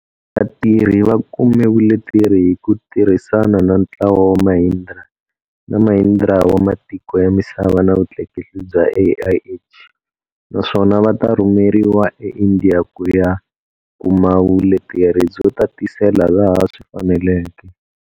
Vatirhi va kume vuleteri hi ku tirhisana na ntlawa wa Mahindra na Mahindra wa matiko ya misava na vutleketli bya AIH, naswona va ta rhumeriwa eIndi ya ku ya kuma vuleteri byo tatisela laha swi faneleke.